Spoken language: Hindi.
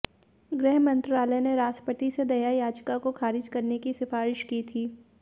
गृहमंत्रालय ने भी राष्ट्रपति से दया याचिका को खारिज करने की सिफारिश की थी